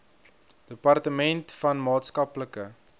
departement van maatskaplike